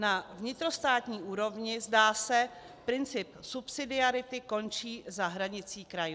Na vnitrostátní úrovni, zdá se, princip subsidiarity končí za hranicí krajů.